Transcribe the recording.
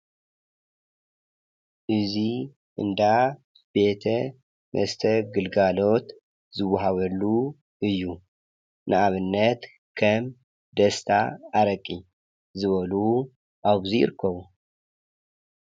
እዚ እንዳ ቤት መስተ ግልጋሎት ዝዋሃበሉ እዩ፡፡ ንአብነት ከም ደስታ አረቂ ዝበሉ አብዚ ይርከቡ፡፡